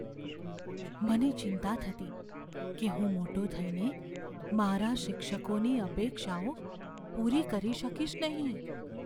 મને ચિંતા થતી કે હું મોટો થઈને મારા શિક્ષકોની અપેક્ષાઓ પૂરી કરી શકીશ નહીં.